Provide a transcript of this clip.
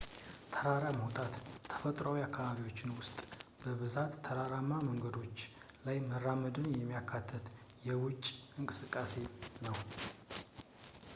ተራራ መውጣት ተፈጥሯዊ አካባቢዎች ውስጥ በብዛት ተራራማ መንገዶች ላይ መራመድን የሚያካትት የውጪ እንቅስቃሴ ነው